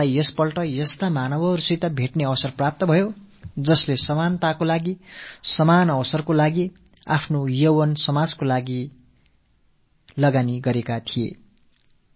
சமத்துவம் சமவாய்ப்பு ஆகியவற்றுக்காக தங்களது இளமைக் காலத்தை தியாகம் செய்த பல மகத்துவம் நிறைந்த மனிதர்களை இந்த முறை என் பயணத்தில் நான் சந்திக்கும் வாய்ப்பு கிட்டியது